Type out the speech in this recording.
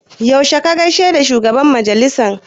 Yaushe ka gaishe da shugaban majalisa?